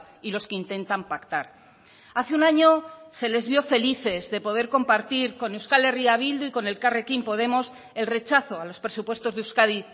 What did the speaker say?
y los que intentan pactar hace un año se les vio felices de poder compartir con euskal herria bildu y con elkarrekin podemos el rechazo a los presupuestos de euskadi